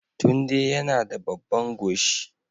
Tunde yana da babban goshi